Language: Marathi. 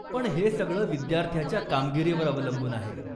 पण हे सगळं विद्यार्थ्याच्या कामगिरीवर अवलंबून आहे.